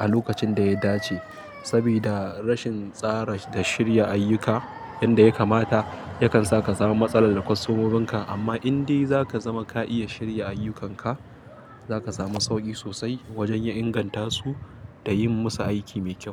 a lokacin da ya dace. Sabida rashin tsara da shirya ayyuka yanda ya kamata yakan saka samu matsala da wasu mumin ka. Amma indai zaka zama ka iya shirya ayyukanka, zaka samu sauƙi sosai wajen ya inganta su da yin musu aiki mai kyau.